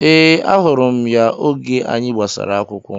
Ee, ahụrụ m ya oge anyị gbasara akwụkwọ